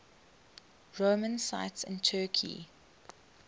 roman sites in turkey